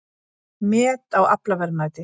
Met í aflaverðmæti